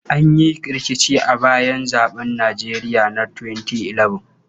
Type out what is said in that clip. An yi rikici a bayan zaɓen Nijeriya na 2011.